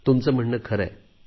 तुमचे म्हणणे खरे आहे